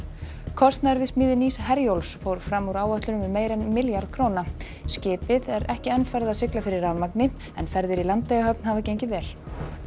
kostnaður við smíði nýs Herjólfs fór fram úr áætlun um meira en milljarð skipið er ekki enn farið að sigla fyrir rafmagni en ferðir í Landeyjahöfn hafa gengið vel